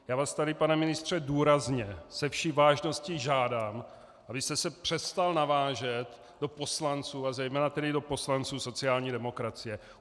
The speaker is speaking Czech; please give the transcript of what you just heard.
Já vás tady, pane ministře, důrazně, se vší vážností žádám, abyste se přestal navážet do poslanců, a zejména tedy do poslanců sociální demokracie.